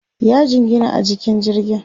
ya jingina a jikin jirgin